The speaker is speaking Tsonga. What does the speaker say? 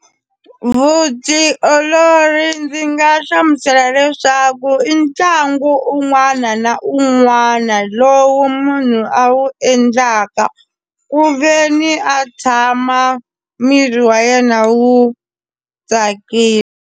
Vutiolori ndzi nga hlamusela leswaku i ntlangu un'wana na un'wana lowu munhu a wu endlaka ku ve ni a tshama miri wa yena wu tsakile.